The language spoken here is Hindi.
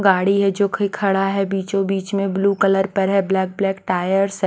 गाड़ी है जो कि खड़ा है बीचों बीच में ब्लू कलर पर है ब्लैक ब्लैक टायर्स --